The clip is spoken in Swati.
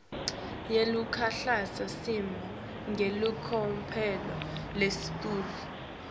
yeluhlakasimo ngelicophelo lelisetulu